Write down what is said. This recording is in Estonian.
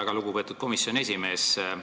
Väga lugupeetud komisjoni esimees!